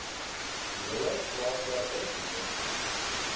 hele plaaswerker gemeenskap